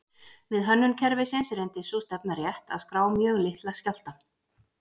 Við hönnun kerfisins reyndist sú stefna rétt að skrá mjög litla skjálfta.